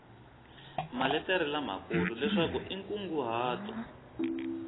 maletere lamakulu leswaku i nkunguhato